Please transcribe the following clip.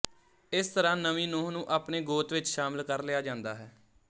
ਇਸ ਤਰ੍ਹਾਂ ਨਵੀਂ ਨੂੰਹ ਨੂੰ ਆਪਣੇ ਗੋਤ ਵਿੱਚ ਸ਼ਾਮਿਲ ਕਰ ਲਿਆ ਜਾਂਦਾ ਹੈ